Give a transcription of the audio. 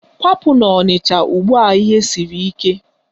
Kwapụ n'Ọnịcha ugbua ihe siri ike!